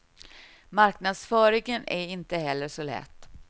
Marknadsföringen är inte heller så lätt.